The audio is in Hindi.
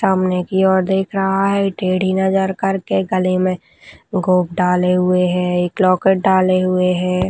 सामने की ओर देख रहा है टेढ़ी नज़र करके गले में गोब डाले हुए है एक लॉकेट डाले हुए है।